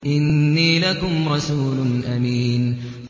إِنِّي لَكُمْ رَسُولٌ أَمِينٌ